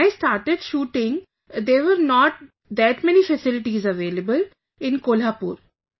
When I started shooting, there were not that many facilities available in Kolhapur